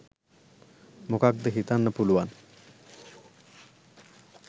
මොකක්ද හිතන්න පුළුවන්.